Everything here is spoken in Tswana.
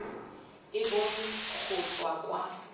e bonwe go tswa kwa